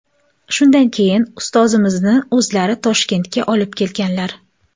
Shundan keyin ustozimni o‘zlari Toshkentga olib kelganlar.